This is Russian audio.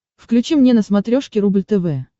включи мне на смотрешке рубль тв